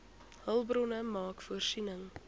hulpbronne maak voorsiening